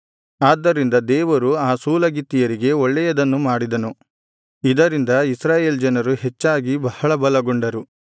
ಆದ್ದರಿಂದ ದೇವರು ಆ ಸೂಲಗಿತ್ತಿಯರಿಗೆ ಒಳ್ಳೆಯದನ್ನು ಮಾಡಿದನು ಇದರಿಂದ ಇಸ್ರಾಯೇಲ್ ಜನರು ಹೆಚ್ಚಾಗಿ ಬಹಳ ಬಲಗೊಂಡರು